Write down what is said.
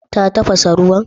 Ta tafasa ruwan?